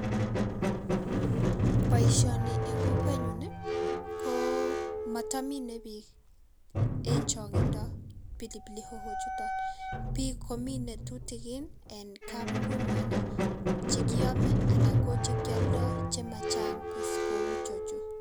Boisioni en kokwenyun ii komotomine biik en chong'indo pilipili hoho chuton. Biik komine tutikin en kabungunyuan ii chekiome anan ko chekioldo chemachang' kos kou ichechu.